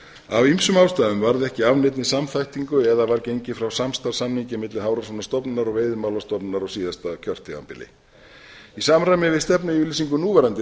af ýmsum ástæðum varð ekki af neinni samþættingu eða var gengið frá samstarfssamningi milli hafrannsóknastofnunar og veiðimálastofnunar á síðasta kjörtímabili í samræmi við stefnuyfirlýsingu núverandi